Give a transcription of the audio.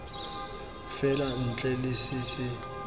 fela ntle le se se